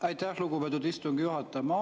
Aitäh, lugupeetud istungi juhataja!